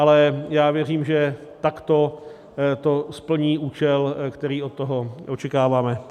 Ale já věřím, že takto to splní účel, který od toho očekáváme.